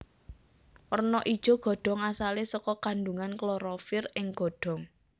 Werna ijo godhong asalé saka kandhungan klorofil ing godhong